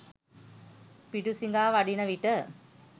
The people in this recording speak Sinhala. පිඬුසිඟා වඩින විට